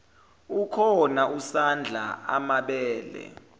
ukhona usadla amabele